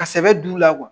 Ka sɛbɛ d'u la kuwa